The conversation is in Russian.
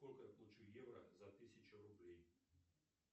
сколько я получу евро за тысячу рублей